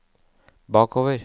bakover